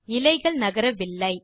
இலைகள் நகரவில்லை